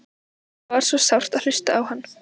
Það er svo sárt að hlusta á hann.